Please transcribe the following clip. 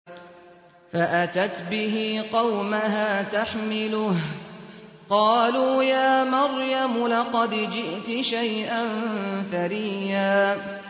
فَأَتَتْ بِهِ قَوْمَهَا تَحْمِلُهُ ۖ قَالُوا يَا مَرْيَمُ لَقَدْ جِئْتِ شَيْئًا فَرِيًّا